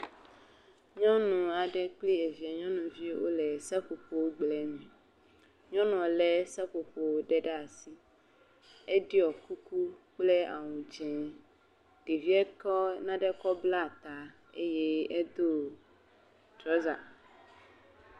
Nyɔnu aɖe kple evia nyɔnuvi wole seƒoƒo gble me, nyɔnuɔ lé seƒoƒowo ɖe ɖe asi, eɖɔ kuku kple awu dze, ɖevie kɔ nane kɔ bla ta, eye edo trɔza…